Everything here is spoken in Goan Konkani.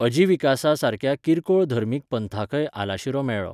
अजीविकासा सारक्या किरकोळ धर्मीक पंथांकय आलाशिरो मेळ्ळो.